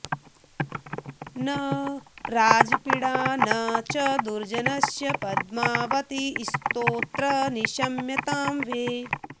न राजपीडा न च दुर्जनस्य पद्मावतीस्तोत्र निशम्यतां वे